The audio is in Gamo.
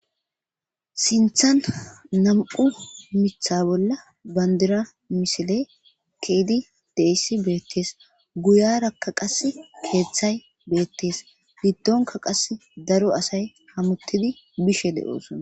sinthan nam7u mitha bolla bandira misile keedi deyssi beettees guyarakka qas keeththay beettees giddonka qas daro asay hamuttidi bishe de7oosona